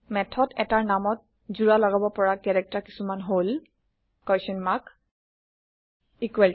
method এটাৰ নামত জোৰা লগাব পৰা কেৰেক্টাৰ কিছুমান হল160